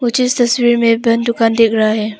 जिस तस्वीर में बंद दुकान दिख रहा है।